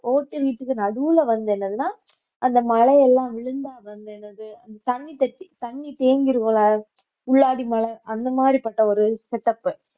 ஓட்டு வீட்டுக்கு நடுவுல வந்து என்னதுன்னா அந்த மழையெல்லாம் விழுந்தா வந்து என்னது அந்த தண்ணி தட்டி தண்ணி தேங்கிரும்ல உள்ளாடி மழை அந்த மாதிரி பட்ட ஒரு setup